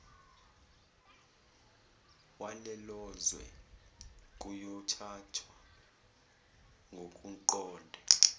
walelozwe kuyothathwa ngokuqonde